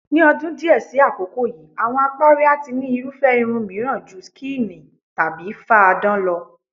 Ní o̩dún díè̩ sí àkókò yìí, àwo̩n apárí a ti ní irúfé̩ irun mìíràn ju skíìnì/fáadán lo̩.